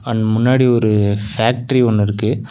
And முன்னாடி ஒரு factory ஒன்னு இருக்கு.